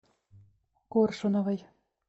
коршуновой